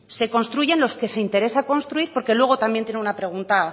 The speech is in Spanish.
se construyen los que se interesa construir porque luego también tiene una pregunta